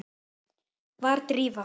Var Drífa?